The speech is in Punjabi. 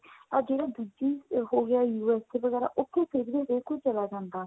ਜਿਹੜਾ ਦੂਜੀ ਹੋਗਿਆ USA ਉਥੇ ਫੇਰ ਵੀ ਹਰੇਕ ਕੋਈ ਚਲਾ ਜਾਂਦਾ.